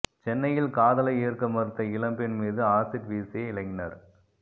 சென்னையில் காதலை ஏற்க மறுத்த இளம்பெண் மீது ஆசிட் வீசிய இளைஞர்